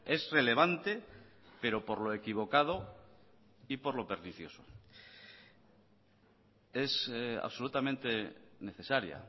es relevante pero por lo equivocado y por lo pernicioso es absolutamente necesaria